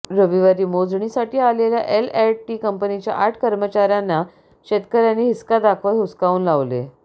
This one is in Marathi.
रविवारी मोजणीसाठी आलेल्या एल अँड टी कंपनीच्या आठ कर्मचाऱ्यांना शेतकऱ्यांनी हिसका दाखवत हुसकावून लावले